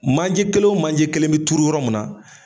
Manje kelen o manje kelen be turu yɔrɔ mun na